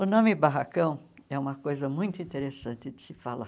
O nome barracão é uma coisa muito interessante de se falar.